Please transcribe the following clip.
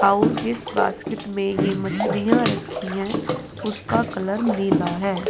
और जिस बास्केट में ये मछलियां रखी हैं उसका कलर नीला है।